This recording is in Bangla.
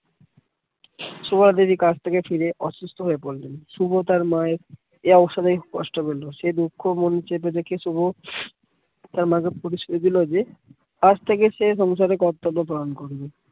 সুভাদেবী কাজ থেকে ফিরে অসুস্থ হয়ে পড়লেন শুভ তার মায়ের এ অবসরে সে দুঃক্ষ মনে চেপে রেখে শুভ তার ্মাকে দিলো যে আজ থেকে সে সংসারের কর্তব্য পালন করবে